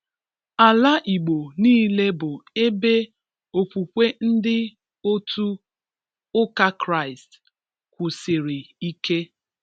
Ala Igbo niile bụ ebe okwukwe ndị otu ụka Kraist kwusiri ike